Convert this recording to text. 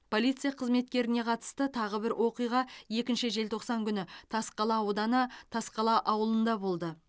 полиция қызметкеріне қатысты тағы бір оқиға екінші желтоқсан күні тасқала ауданы тасқала ауылында болды